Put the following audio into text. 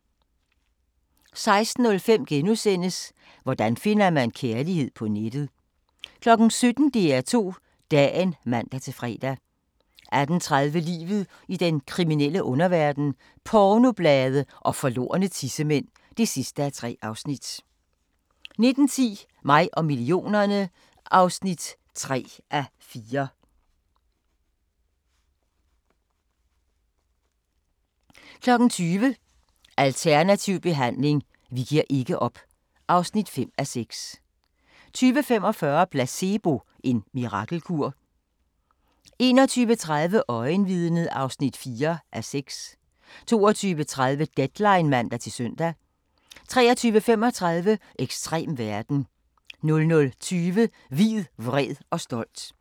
16:05: Hvordan finder man kærligheden på nettet? * 17:00: DR2 Dagen (man-fre) 18:30: Livet i den kriminelle underverden – Pornoblade og forlorne tissemænd (3:3) 19:10: Mig og millionerne (3:4) 20:00: Alternativ behandling – vi giver ikke op (5:6) 20:45: Placebo – en mirakelkur? 21:30: Øjenvidnet (4:6) 22:30: Deadline (man-søn) 23:35: Ekstrem verden 00:20: Hvid, vred og stolt